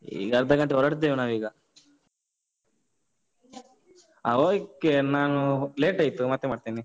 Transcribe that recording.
ಈಗ ಅರ್ಧ ಗಂಟೆ ಹೊರಡ್ತೇವೆ ನಾವೀಗ. ಹ, okay ನಾನು late ಆಯ್ತು ಮತ್ತೆ ಮಾಡ್ತೇನೆ.